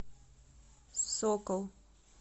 сокол